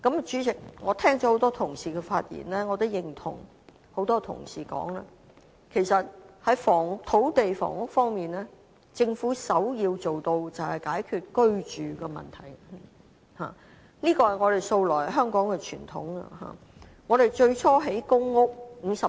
主席，我聽了很多同事的發言，亦認同多位議員所指出，在土地房屋方面，政府首要做到的便是解決居住問題，這也是香港素來的傳統問題。